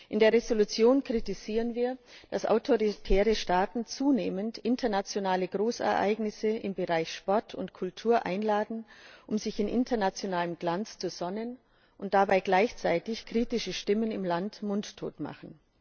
In der Entschließung kritisieren wir, dass sich autoritäre Staaten zunehmend um internationale Großereignisse im Bereich Sport und Kultur bewerben, um sich in internationalem Glanz zu sonnen, und dabei gleichzeitig kritische Stimmen im Land mundtot machen.